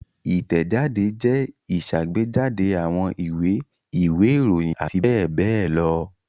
Ìtẹ̀jáde jẹ́ ìṣàgbéjáde àwọn ìwé, ìwé-ìròyìn àti bẹ́ẹ̀ bẹ́ẹ̀ lọ.